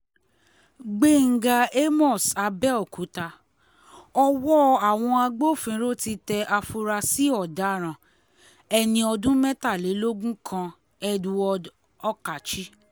gbẹ̀ngà àmos abéòkúta ọwọ́ àwọn agbófinró ti tẹ àfúrásì ọ̀daràn ẹni ọdún mẹ́tàlélógún kan edward okache